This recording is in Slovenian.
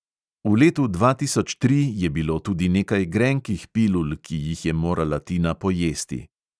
V letu dva tisoč tri je bilo tudi nekaj grenkih pilul, ki jih je morala tina pojesti.